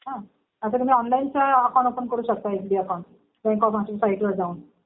हा आता तुम्ही ऑनलाईन सुद्धा ओपन करू शकता S B account. Bank of महाराष्ट्रच्या साईटवर जाऊन